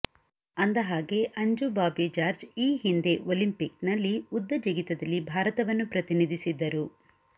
ಅಂದ ಹಾಗೆ ಅಂಜು ಬಾಬಿ ಜಾರ್ಜ್ ಈ ಹಿಂದೆ ಒಲಿಂಪಿಕ್ನಲ್ಲಿ ಉದ್ದ ಜಿಗಿತದಲ್ಲಿ ಭಾರತವನ್ನು ಪ್ರತಿನಿಧಿಸಿದ್ದರು